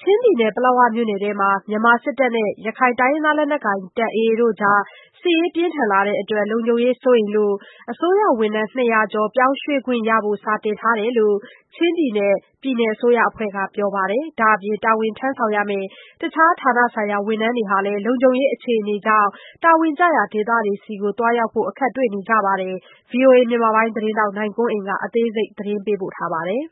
ချင်းပြည်နယ်ပလက်ဝမြို့နယ်ထဲမှာ မြန်မာစစ်တပ်နဲ့ရခိုင်လက်နက်ကိုင်အဖွဲ့တို့ စစ်ရေးပြင်းထန် လာနေတာနဲ့အမျှ လုံခြုံရေးစိုးရိမ်တာကြောင့် ဝန်ထမ်း ကျော် ပြောင်းရွှေ့ခွင့် ရဖို့ စာတင်ထားတယ်လို့ ချင်းပြည်နယ် အစိုးရအဖွဲ့ကပြောပါတယ်။ ဒါ့အပြင် တာဝန်ထမ်းဆောင်ရမယ့် တခြား ဌာနဆိုင်ရာ ဝန်ထမ်းတွေ ဟာလဲ လုံခြုံရေး အခြေအနေကြောင့် တာဝန်ကျရာ ဒေသတွေ ဆီသွား ရောက်ဖို့ အခက်အခဲတွေ တွေ့နေရပါတယ်။ ဗွီအိုအေမြန်မာပိုင်းသတင်းထောက် နိုင်ကွန်းအိန်ကနေ ဆက်သွယ် မေးမြန်း သတင်းပို့ထားပါတယ်။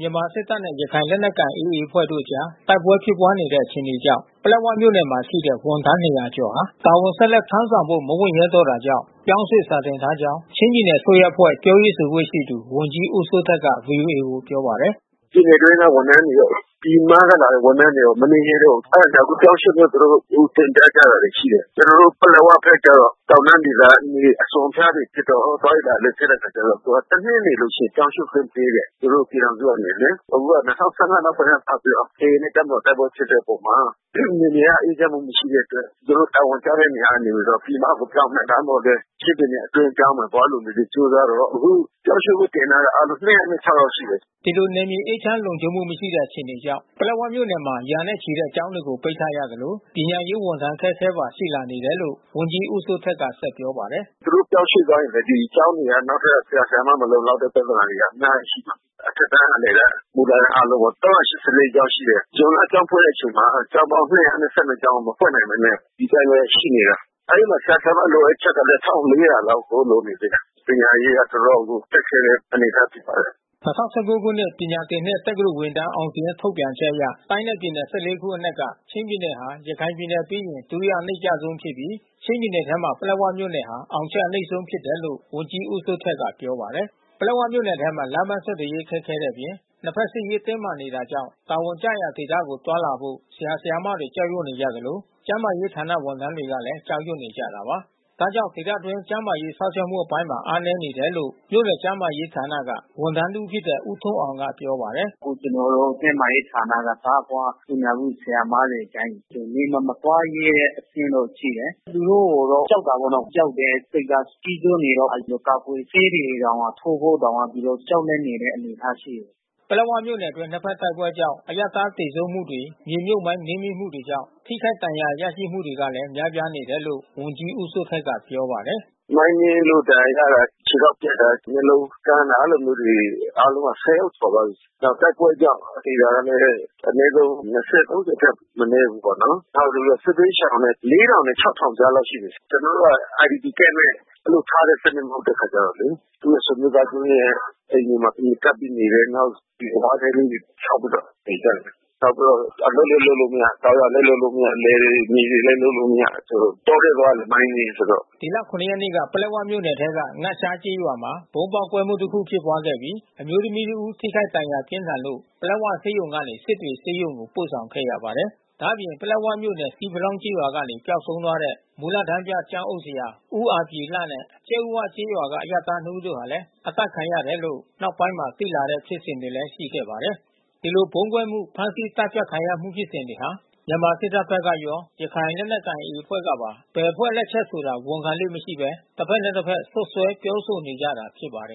မြန်မာစစ်တပ်နဲ့ရခိုင်လက်နက်ကိုင်AAအဖွဲ့တို့အကြားတိုက်ပွဲဖြစ်ပွားနေတဲ့ အခြေ အနေကြောင့် ပလက်ဝမြို့နယ်မှာရှိတဲ့ ဝန်ထမ်း ကျော်ဟာ တာဝန်ဆက်လက် ထမ်းဆောင်ဖို့ မဝံ့ရဲတော့ တာကြောင့် ပြောင်းရွှေ့စာ တင်ထား ကြောင်း ချင်းပြည်နယ် အစိုးရအဖွဲ့ ပြောရေးဆိုခွင့်ရှိသူ ဝန်ကြီးဦးစိုးထက်က ဗွီအိုအေကိုပြောပါတယ်။ “ပြည်နယ်အတွင်းက ဝန်ထမ်းတွေရော ပြည်မက လာတဲ့ဝန်ထမ်းတွေရော မနေ ချင်တော့ဘူး။ အဲတာကြောင့် အခုပြောင်း ရွှေ့ ဖို့ သူတို့တင်ပြကြ တာတွေရှိ တယ်။ ကျွန်တော်တို့ ပလက်ဝဘက် ကျတော့ တောင်တန်းဒေသ မြေအစွန်အဖျား တွေဖြစ်တော့ သွားရေး လာရေး ခက်တဲ့အခါကျတော့ တနှစ်နေလို့ ရှိရင်ပြောင်းရွှေ့ ခွင့်ပေး တယ်။ သူတို့ပြည်ထောင်စု ကနေလေ။ အခု နောက်ပိုင်းကနေ စပြီးတော့ AA နဲ့တပ်မတော် တိုက်ပွဲဖြစ်တဲ့အပေါ်မှာ နယ်မြေက အေးချမ်းမှု မရှိတဲ့ အတွက် သူတို့ တာဝန်ကျ တဲ့ နေရာ ကနေ ပြီးတော့ပြည်မ ကိုပြောင်းမယ်။ ချင်းပြည်နယ် အတွင်းကိုပြောင်းမယ်၊ သွားလိုတယ်ကြိုးစားတော့ အခု ပြောင်းရွှေ့ ခွင့် တင်ထားတာ အားလုံး ယောက်လောက်ရှိတယ်။” ဒီလို နယ်မြေအေးချမ်း လုံခြုံမှုမရှိတဲ့ အခြေအနေကြောင့် ပလက်ဝမြို့နယ်မှာ ရာနဲ့ ချီတဲ့ ကျောင်းတွေကို ပိတ်ထားရသလို ပညာရေး ဝန်ထမ်းအခက်ခဲ ပါ ရှိလာ နေတယ်လို့ ဝန်ကြီးဦးစိုးထက်က ဆက်ပြောပါတယ်။ “သူတို့ပြောင်းရွှေ့ သွားရင်လဲ နောက်ထပ် ဆရာဆရာမတွေ မလုံလောက်တဲ့ ပြဿနာတွေက အများကြီးရှိမှာ။ အထက်တန်း အလယ်တန်း မူလတန်း အားလုံးရော ကျောင်းရှိတယ်။ ဇွန်လကျောင်းဖွင့်တဲ့ အချိန်မှာ ကျောင်းပေါင်း ကျောင်း မဖွင့်နိုင်ဘဲနဲ့ ဒီအတိုင်းဘဲ ရှိနေတာ။ အဲဒီမှာဆရာ၊ ဆရာမ လိုအပ်ချက် ကလဲ လောက်ကို လိုနေသေးတယ်။ ပညာရေးက တော်တော်ကို ခက်ခဲတဲ့ အနေအထားဖြစ်ပါတယ်။” ၂၀၁၉ ခုနှစ် ပညာသင်နှစ် တက္ကသိုလ်ဝင်တန်း အောင်စာရင်း ထုတ်ပြန်ချက်အရ တိုင်းနဲ့ပြည်နယ် ခုအနက်က ချင်းပြည်နယ်ဟာ ရခိုင်ပြည်နယ်ပြီး ဒုတိယ အနိမ့်ကျ ဆုံးဖြစ်ပြီး ချင်းပြည်နယ်ထဲမှာ ပလက်ဝမြို့နယ်ဟာ အောင်ချက် အနိမ့်ဆုံးဖြစ် တယ်လို့ ဝန်ကြီးဦးစိုးထက်က ပြောပါတယ်။ ပလက်ဝမြို့နယ်ထဲမှာ လမ်းပန်းဆက်သွယ်ရေး ခက်ခဲတဲ့ အပြင် နှစ်ဖက် စစ်ရေး တင်းမာနေတာ ကြောင့် တာဝန်ကျရာ ဒေသတွေ ကို သွားလာဖို ဆရာ ဆရာမတွေ ကြောက်ရွံ့ နေကြသလို ကျန်းမာရေး ဌာနက ဝန်ထမ်းတွေလည်း ကြောက်ရွံ့နေကြ တာပါ။ ဒါကြောင့် ဒေသတွင်း ကျန်းမာရေး စောင့်ရှောက်မှု အပိုင်းမှာ အားနည်းနေတယ် လို့ မြို့နယ်ကျန်းမာရေးဌာနက ဝန်ထမ်း တဦးဖြစ်တဲ့ ဦးထွန်းအောင်က ပြောပါတယ်။ “အခုကျွန်တော်တို့ ကျန်းမာရေးဌာနက သားဖွားသူနာပြု ဆရာမတွေ တိုင်း နယ် မှာ မသွားရဲတဲ့ အဆင့်တော့ ရှိတယ်။ သူတို့ ကြောက်တာပေါ့နော်။ ကြောက်တဲ့စိတ်က ကြီးစိုးနေတော့ ကာကွယ်ဆေးတွေတောင် ထိုးဖို့တောင် သူတို့ကြောက်လန့် နေတဲ့ အနေ အထားရှိတယ်။” ပလက်ဝမြို့နယ်အတွင်း နှစ်ဖက်တိုက်ပွဲကြောင့် အရပ်သားသေဆုံးမှုတွေ မြေမြုပ် မိုင်းနင်းမိမှုကြောင့် ထိခိုက်ဒဏ်ရာ ရမှုတွေ ကလဲ များပြားနေတယ်လို့လည်း ဝန်ကြီးဦးစိုးထက်က ပြောပါတယ်။ “မိုင်းနင်းလို့ဒဏ်ရာရတာ ခြေထောက်ပြတ်တာ မျက်လုံးကန်းတာ အဲဒီလိုမျိုးတွေ အားလုံးက ယောက်ကျော်သွားပြီး။ နောက်တိုက်ပွဲကြောင့် သေတာကလည်း အနည်းဆုံး ထက်မနည်း ဘူးပေါ့နော်။ နောက်စစ်ဘေးရှောင်လဲ နဲ့ ကြားလောက်ရှိမယ်။ ကျွန်တော် တို့က IDP Campနဲ့ ဘဲ ဒီလိုစနစ်နဲ့ ထားတာ မဟုတ်တဲ့ အခါကျတော့လေ သူရဲ့ဆွေမျိုး သားချင်းရဲ့ အိမ်တွေမှာဘဲ ကပ်ပြီးနေတယ်။ နောက် ဝါးတဲ လေးတွေဆောက်ပြီးတော့ နေကြတယ်။ နောက်ပြီးတော့ အလုပ်လဲ လုပ်လို့မရ ၊ တောင်ယာလဲ လုပ်လို့မရ။ တောထဲသွား မိုင်းနင်းမိဆိုတော့ ။” ဒီလ ရက်နေ့က ပလက်ဝမြို့နယ်ထဲက ငရှားကျေးရွာမှာ ဗုံးပေါက်ကွဲမှု တခု ဖြစ် ခဲ့ပြီး အမျိုးသမီးတဦး ထိခိုက်ဒဏ်ရာပြင်းထန်လို့ ပလက်ဝဆေးရုံကနေ စစ်တွေဆေးရုံ ကို ပို့ဆောင် ခဲ့ရပါတယ်။ ဒါ့အပြင် ပလက်ဝမြို့နယ် ဆီးဖလောင်းရွာကနေ ပျောက်ဆုံး သွား တဲ့ မူလတန်းပြ ကျောင်းအုပ်ဆရာ ဦးအာဗြေလ နဲ့ ကြက်ဥဝ ကျေးရွာက အရပ်သား ဦးတို့ ဟာလည်း အသတ်ခံရတယ် လို့ နောက်ပိုင်းမှာ သိရတဲ့ဖြစ်စဉ်လဲ ရှိခဲ့ပါတယ်။ ဒီလိုဗုံးကွဲမူ၊ ဖမ်းဆီး အသတ်ဖြတ်ခံရမှုဖြစ်စဉ်တွေမှာ မြန်မာစစ်တပ်ဘက်ကရော ရခိုင်လက်နက်ကိုင် AA အဖွဲ့ကပါ ဘယ်အဖွဲ့ လက်ချက် ဆိုတာ ဝန်ခံလေ့မရှိဘဲ တဘက်နဲ့တဘက် စွပ် စွဲပြောဆိုနေကြတာ ဖြစ်ပါတယ်